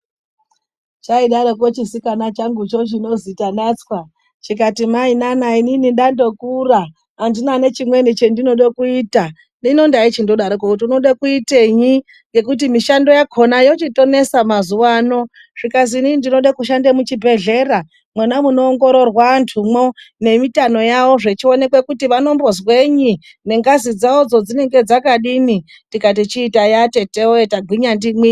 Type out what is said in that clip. Chaidaroko chisikana changucho, chinozi Tanatswa, chikati mainana inini ndandokura andina nechimweni chandooda kuita. Hino ndaichidaroko kuti unoda kuitei ngekuti mishando yakona yochitonesa mazuva anaa. Zvikazi inini ndoda kushanda muchibhedhlera, mwona munoongororwa antumwo nemitano yavo zvichionekwa kuti vanozwenyi, nengazi dzavo kuti dzinenge dzakadini. Tikati chiitai, atete woye tagwinya ndimwi.